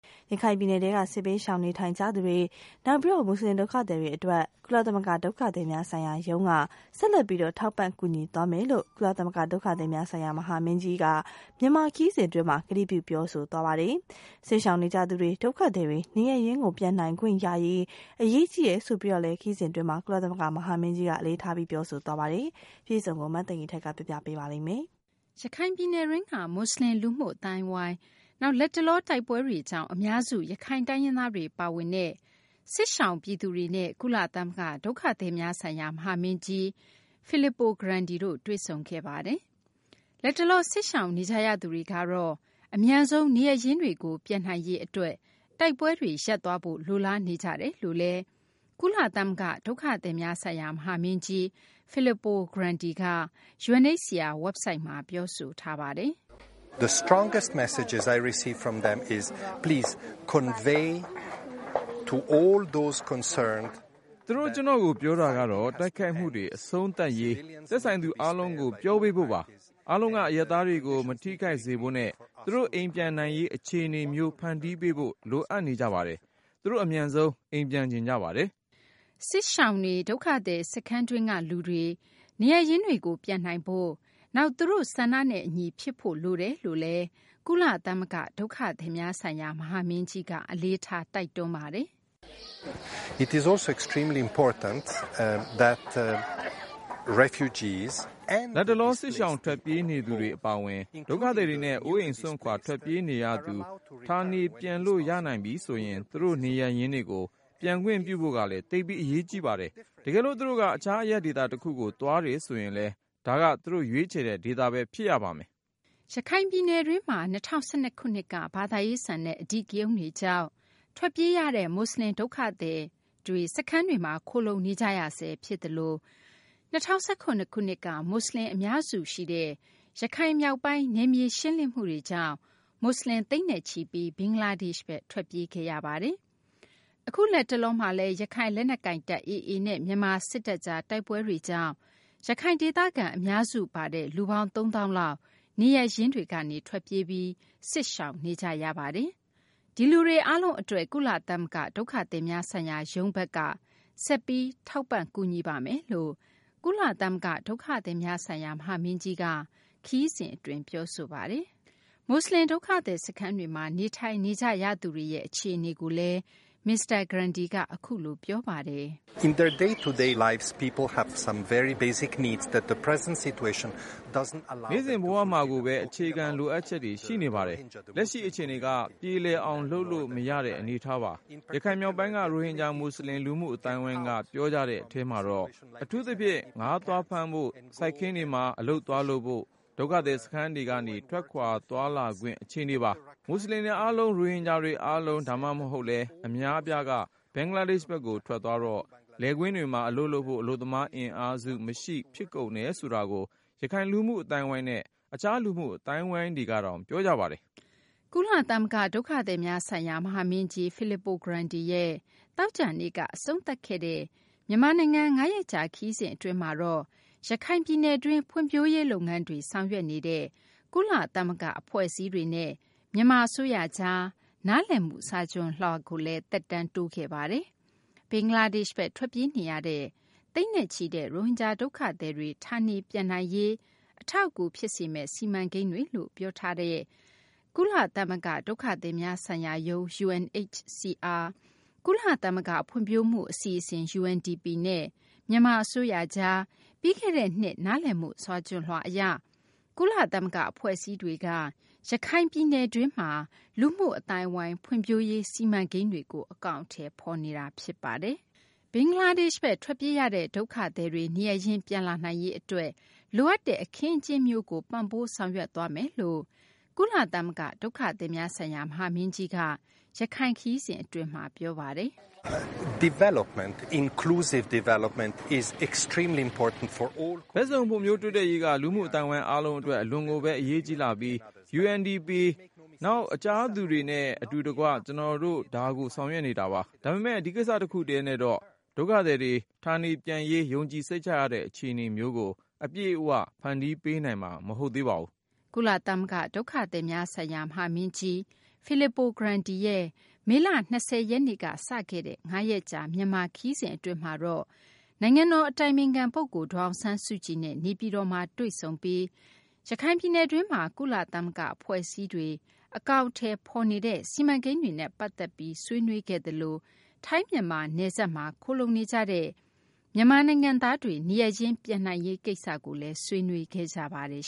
ရခိုင်ပြည်နယ်ထဲက စစ်ဘေးရှောင်နေကြရသူတွေ၊ နောက် မူဆလင် ဒုက္ခသည်တွေအတွက် ကုလသမဂ္ဂ ဒုက္ခသည်များဆိုင်ရာရုံးက ဆက်လက် ထောက်ပံ့ ကူညီသွားမယ်လို့ ကုလသမဂ္ဂ ဒုက္ခသည်များဆိုင်ရာ မဟာမင်းကြီးက မြန်မာခရီးစဉ် အတွင်းမှာ ကတိပြု ပြောဆိုခဲ့ပါတယ်။ စစ်ရှောင်နေကြရသူတွေ၊ ဒုက္ခသည်တွေ နေရပ်ရင်းတွေကို ပြန်နိုင်ခွင့်ရရေး အရေးကြီးတယ်လို့လည်း ခရီးစဉ်အတွင်းမှာ ကုလသမဂ္ဂ မဟာမင်းကြီးက အလေးထား ပြောဆိုပါတယ်။ မသိင်္ဂီထိုက် စုစည်းတင်ပြထားပါတယ်။ ရခိုင်ပြည်နယ်တွင်းက မူဆလင် လူမှုအသိုင်းအဝိုင်း၊ နောက် လတ်တလော တိုက်ပွဲတွေကြောင့် အများစု ရခိုင်တိုင်းရင်းသားတွေ ပါဝင်တဲ့ စစ်ရှောင်ပြည်သူတွေနဲ့ ကုလသမဂ္ဂ ဒုက္ခသည်များဆိုင်ရာ မဟာမင်းကြီး Filippo Grandi တွေ့ဆုံခဲ့ပါတယ်။ လတ်တလော စစ်ရှောင်နေကြရသူတွေကတော့ အမြန်ဆုံး နေရပ်ရင်းတွေကို ပြန်နိုင်ရေး အတွက် တိုက်ပွဲတွေ ရပ်သွားဖို့ လိုလားနေကြတယ်လို့လည်း ကုလသမဂ္ဂ ဒုက္ခသည်များဆိုင်ရာ မဟာမင်းကြီး Filippo Grandi က UNHCR WEBSITE မှာပြောဆိုထားပါတယ်။ “သူတို့ ကျနော့်ကို ပြောတာကတော့ တိုက်ခိုက်မှုတွေ အဆုံးသတ်ရေး သက်ဆိုင်သူ အားလုံးကို ပြောပေးဖို့ပါ။ အားလုံးက အရပ်သားတွေကို မထိခိုက်စေဖို့နဲ့ သူတို့ အိမ်ပြန်နိုင်ရေး အခြေအနေမျိုး ဖန်တီးပေးဖို့ လိုအပ်နေကြပါတယ်။ သူတို့ အမြန်ဆုံး အိမ်ပြန်ချင်ကြပါတယ်။” စစ်ရှောင်တွေ၊ ဒုက္ခသည် စခန်းတွင်းက လူတွေ နေရပ်ရင်းတွေကို ပြန်နိုင်ဖို့၊ နောက် သူတို့ ဆန္ဒနဲ့ အညီ ဖြစ်ဖို့ လိုတယ်လို့လည်း ကုလသမဂ္ဂ ဒုက္ခသည်များဆိုင်ရာ မဟာမင်းကြီးက အလေးထား တိုက်တွန်းပါတယ်။ “လတ်တလော စစ်ရှောင် ထွက်ပြေးနေရသူတွေ အပါအဝင် ဒုက္ခသည်တွေနဲ့ အိုးအိမ်စွန့်ခွာထွက်ပြေးနေရသူတွေ ဌာနေပြန်လို့ရနိုင်ပြီဆိုရင် သူတို့ နေရပ်ရင်းတွေကို ပြန်ခွင့်ပြုဖို့ကလည်း သိပ်ပြီး အရေးကြီးပါတယ်။ တကယ်လို့ သူတို့က တခြားအရပ်ဒေသ တခုကို သွားတယ်ဆိုရင်လည်း ဒါက သူတို့ ရွေးချယ်တဲ့ ဒေသပဲ ဖြစ်ရပါမယ်။ ” ရခိုင်ပြည်နယ်တွင်းမှာ ၂၀၁၂ ခုနှစ်က ဘာသာရေးဆန်တဲ့ အဓိကရုဏ်းတွေကြောင့် ထွက်ပြေးကြရတဲ့ မူဆလင် ဒုက္ခသည် စခန်းတွေမှာ ခိုလှုံနေကြရဆဲ ဖြစ်သလို ၂၀၁၇ ခုနှစ်က မူဆလင်တွေ အများစုရှိတဲ့ ရခိုင်မြောက်ပိုင်း နယ်မြေရှင်းလင်းမှုတွေကြောင့် မူဆလင် သိန်းနဲ့ချီပြီး ဘင်္ဂလားဒေ့ရှ်ဘက် ထွက်ပြေးခဲ့ရတာပါ။ အခု လက်တလောမှာလည်း ရခိုင်လက်နက်ကိုင်တပ် AA နဲ့ မြန်မာ စစ်တပ်ကြား တိုက်ပွဲတွေကြောင့် ရခိုင်ဒေသခံ အများစု ပါတဲ့ လူပေါင်း ၃ သောင်းလောက် နေရပ်ရင်းတွေကနေ ထွက်ပြေးပြီး စစ်ဘေးရှောင်နေကြ ရတာပါ။ ဒီလူတွေ အားလုံး အတွက် ကုလသမဂ္ဂ ဒုက္ခသည်များဆိုင်ရာရုံးဘက်က ဆက်ပြီး ထောက်ပံ့ကူညီပါမယ်လို့ ကုလသမဂ္ဂ ဒုက္ခသည်များဆိုင်ရာ မဟာမင်းကြီးက ခရီးစဉ် အတွင်း ပြောဆိုပါတယ်။ မူဆလင် ဒုက္ခသည် စခန်းတွေမှာ နေထိုင်နေကြရသူတွေ အခြေအနေကိုလည်း မစ္စတာ Grandi က အခုလို ပြောပါတယ်။ “နေ့စဉ်ဘဝမှာကိုပဲ အခြေခံလိုအပ်ချက်တွေ ရှိနေကြပါတယ်။ လက်ရှိ အခြေအနေက ပြေလည်အောင်လုပ်လို့ မရတဲ့ အနေအထားပါ။ ရခိုင်မြောက်ပိုင်းက ရိုဟင်ဂျာ မူဆလင် လူမှုအသိုင်းအဝိုင်းက ပြောကြတဲ့ အထဲမှာတော့ အထူးသဖြင့် ငါးသွားဖမ်းဖို့၊ စိုက်ခင်းတွေမှာ အလုပ်သွားလုပ်ဖို့ ဒုက္ခသည် စခန်းထဲကနေ ထွက်ခွာသွာလာခွင့် အခြေအနေပါ။ မူဆလင်တွေ အားလုံး၊ ရိုဟင်ဂျာတွေ အားလုံး ဒါမှမဟုတ်လည်း အများအပြားက ဘင်္ဂလားဒေ့ရှ်ဘက်ကို ထွက်သွားတော့ လယ်ကွင်းတွေမှာ အလုပ်လုပ်ဖို့ အလုပ်သမား အင်အားစုမရှိ ဖြစ်ကုန်တယ်ဆိုတာကို ရခိုင် လူမှုအသိုင်းအဝိုင်းနဲ့ တခြား လူမှုအသိုင်းအဝိုင်းတွေကတောင် ပြောကြပါတယ်။” ကုလသမဂ္ဂ ဒုက္ခသည်များဆိုင်ရာ မဟာမင်းကြီး Filippo Grandi ရဲ့ သောကြာနေ့က အဆုံးသတ်ခဲ့တဲ့ မြန်မာနိုင်ငံ ၅ ရက်ကြာ ခရီးစဉ် အတွင်းမှာတော့ ရခိုင်ပြည်နယ်တွင်း ဖွံ့ဖြိုးရေး လုပ်ငန်းတွေ ဆောင်ရွက်နေတဲ့ ကုလသမဂ္ဂ အဖွဲ့အစည်းတွေနဲ့ မြန်မာ အစိုးရကြား နားလည်မှု စာချွန်လွှာကို သက်တမ်းတိုးခဲ့ပါတယ်။ ဘင်္ဂလားဒေ့ရှ်ဘက် ထွက်ပြေးနေရတဲ့ သိန်းနဲ့ချီတဲ့ ရိုဟင်ဂျာ ဒုက္ခသည်တွေ ဌာနေပြန်နိုင်ရေးကို အထောက်အကူ ဖြစ်စေမယ့် စီမံကိန်းတွေလို့ ပြောဆိုထားတဲ့ ကုလသမဂ္ဂ ဒုက္ခသည်များဆိုင်ရာရုံး UNHCR၊ ကုလသမဂ္ဂ ဖွံ့ဖြိုးမှု အစီအစဉ် UNDP နဲ့ မြန်မာ အစိုးရကြား ပြီးခဲ့တဲ့ နှစ် နားလည်မှု စာချွန်လွှာ အရ ကုလသမဂ္ဂ အဖွဲ့အစည်းတွေက ရခိုင်ပြည်နယ်တွင်းမှာ လူမှုအသိုင်းအဝိုင်း ဖွံ့ဖြိုးရေး စီမံကိန်းတွေကို အကောင်အထည် ဖော်နေတာပါ။ ဘင်္ဂလားဒေ့ရှ်ဘက် ထွက်ပြေးရတဲ့ ဒုက္ခသည်တွေ နေရပ်ရင်း ပြန်လာနိုင်ရေး အတွက် လိုအပ်တဲ့ အခင်းအကျင်းမျိုးကို ပံ့ပိုး ဆောင်ရွက်သွားမယ်လို့လည်း ကုလသမဂ္ဂ ဒုက္ခသည်များဆိုင်ရာ မဟာမင်းကြီးက ရခိုင်ခရီးစဉ် အတွင်းမှာ ပြောဆိုပါတယ်။ “ဘက်စုံ ဖွံ့ဖြိုးတိုးတက်ရေးက လူမှုအသိုင်းအဝိုင်း အားလုံး အတွက် အလွန်ကိုပဲ အရေးကြီးလှပြီး UNDP နောက် တခြားသူတွေနဲ့ အတူတကွ ကျနော်တို့ ဒါကို ဆောင်ရွက်နေတာပါ။ ဒါပေမယ့် ဒီကိစ္စတခုတည်းနဲ့တော့ ဒုက္ခသည်တွေ ဌာနေပြန်ရေး ယုံကြည်စိတ်ချရတဲ့ အခြေအနေမျိုးကို အပြည့်အဝ ဖန်တီးပေးနိုင်မှာ မဟုတ်ပါဘူး။ ” ကုလသမဂ္ဂ ဒုက္ခသည်များဆိုင်ရာ မဟာမင်းကြီး Filippo Grandi ရဲ့ မေလ ၂၀ ရက်နေ့က စတင်ခဲ့တဲ့ ၅ ရက်ကြာ မြန်မာနိုင်ငံခရီးစဉ်အတွင်းမှာတော့ နိုင်ငံတော် အတိုင်ပင်ခံ ပုဂ္ဂိုလ် ဒေါ်အောင်ဆန်းစုကြည်နဲ့ နေပြည်တော်မှာ တွေ့ဆုံပြီး ရခိုင်ပြည်နယ်တွင်းမှာ ကုလသမဂ္ဂ အဖွဲ့အစည်းတွေ အကောင်အထည်ဖော်နေတဲ့ စီမံကိန်းတွေနဲ့ ပတ်သက်ပြီး ဆွေးနွေးခဲ့သလို ထိုင်း-မြန်မာ နယ်စပ်မှာ ခိုလှုံနေကြတဲ့ မြန်မာနိုင်ငံသားတွေ နေရပ်ရင်း ပြန်နိုင်ရေး ကိစ္စလည်း ဆွေးနွေးခဲ့ကြပါတယ်